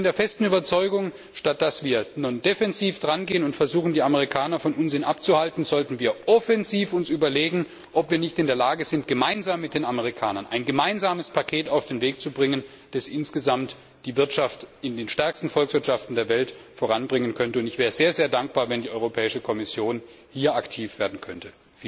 Ich bin der festen Überzeugung, statt dass wir nun defensiv drangehen und versuchen, die Amerikaner von Unsinn abzuhalten, sollten wir offensiv uns überlegen, ob wir nicht in der Lage sind, gemeinsam mit den Amerikanern ein gemeinsames Paket auf den Weg zu bringen, das insgesamt die Wirtschaft in den stärksten Volkswirtschaften der Welt voranbringen könnte. Ich wäre sehr dankbar, wenn die Europäische Kommission hier aktiv werden könnte.